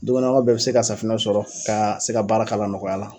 Dukɔnɔ bɛɛ bɛ se ka safinɛ sɔrɔ ka se ka baara k'a la nɔgɔya la.